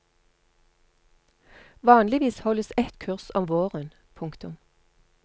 Vanligvis holdes et kurs om våren. punktum